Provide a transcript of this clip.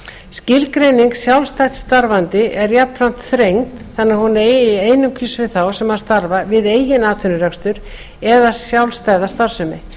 skilgreining sjálfstætt starfandi er jafnframt þrengd þannig að hún eigi einungis við þá sem starfa við eigin atvinnurekstur eða sjálfstæða starfsemi